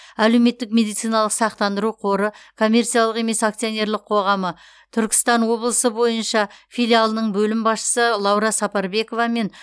әлеуметтік медициналық сақтандыру қоры коммерциялық емес акционерлік қоғамы түркістан облысы бойынша филиалының бөлім басшысы лаура сапарбекова мен